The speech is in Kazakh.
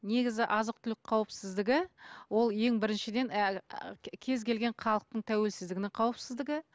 негізі азық түлік қауіпсіздігі ол ең біріншіден кез келген халықтың тәуелсіздігінің қауіпсіздігі